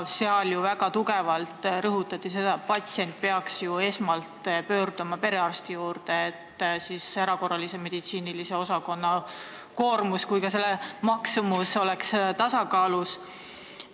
Seal väga tugevalt rõhutati, et patsient peaks esmalt pöörduma perearsti poole, siis oleks nii erakorralise meditsiini osakonna koormus kui ka ravi maksumus tasakaalus.